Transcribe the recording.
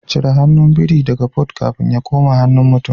Cire hannun biri daga Port kafin ya koma hannun mutum